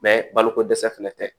Mɛ baloko dɛsɛ fana tɛ